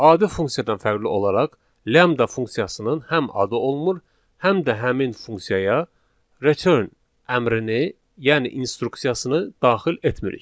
Adi funksiyadan fərqli olaraq, lambda funksiyasının həm adı olmur, həm də həmin funksiyaya return əmrini, yəni instruksiyasını daxil etmirik.